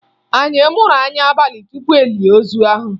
Anyị muru anya abalị tupu e lie ozu ahụ